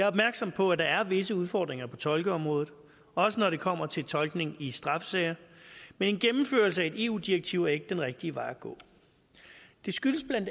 opmærksom på at der er visse udfordringer på tolkeområdet også når det kommer til tolkning i straffesager men en gennemførelse af et eu direktiv er ikke den rigtige vej at gå det skyldes bla